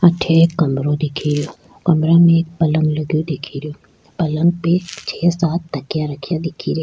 अठे एक कमरों दिखे रो कमरों में एक पलंग लगयो दिखे रो पलंग पे छः सात तकिये रखे दिखे रो।